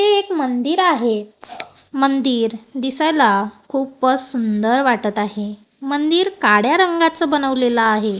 हे एक मंदिर आहे मंदिर दिसायला खूपच सुंदर वाटत आहे मंदिर काड्या रंगाच बनवलेलं आहे.